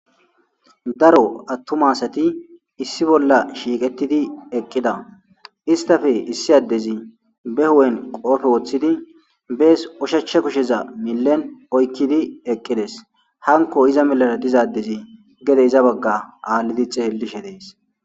Daro attuma asati issi bolla shiiqettidi eqqida istafe issi addezi be h'en qoofe woththidi bees oshachcha kusheza millen oykkidi eqqides hanko iza milara dizadezi gede iza bagga aallidixe hellishe dees.